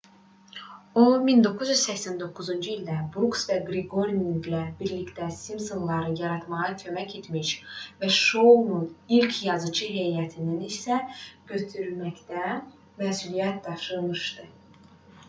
o 1989-cu ildə bruks və qryoninqlə birgə simpsonları yaratmağa kömək etmiş və şounun ilk yazıçı heyətini işə götürməkdən məsuliyyət daşımışdı